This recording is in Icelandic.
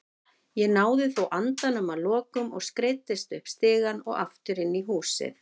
Ég náði þó andanum að lokum og skreiddist upp stigann og aftur inn í húsið.